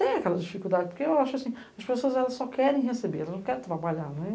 Tem aquelas dificuldades, porque eu acho assim, as pessoas elas só querem receber, elas não querem trabalhar, não é?